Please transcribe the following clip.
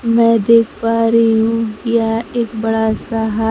मैं देख पा रही हूं यह एक बड़ा सा हा--